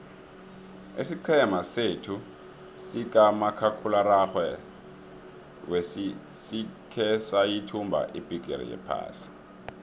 isiqhema sethu sikamakhakhulararhwe sikhe sayithumba ibhigiri yephasi